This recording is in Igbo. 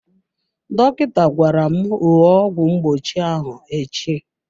Dọkịta gwara m ṅụọ ọgwụ mgbochi ahụ echi.